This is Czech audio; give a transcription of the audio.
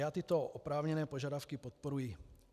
Já tyto oprávněné požadavky podporuji.